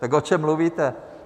Tak o čem mluvíte?